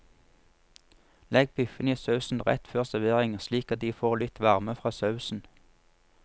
Legg biffene i sausen rett før servering slik at de får litt varme fra sausen.